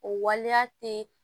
O waleya tɛ